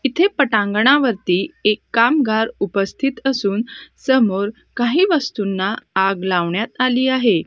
इथे पटांगणावरती एक कामगार उपस्थित असून समोर काही वस्तूंना आग लावण्यात आली आहे.